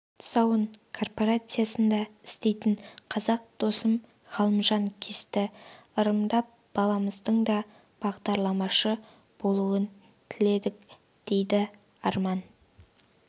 тұсауын корпорациясында істейтін қазақ досым ғалымжан кесті ырымдап баламыздың да бағдарламашы болуын тіледік дейді арман